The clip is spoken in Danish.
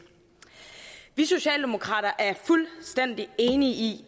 vi socialdemokrater er fuldstændig enige i